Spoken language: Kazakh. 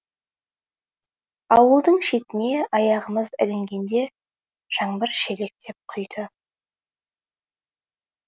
ауылдың шетіне аяғымыз ілінгенде жаңбыр шелектеп құйды